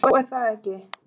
Já, er það ekki?